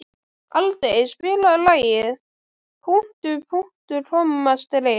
Aldey, spilaðu lagið „Punktur, punktur, komma, strik“.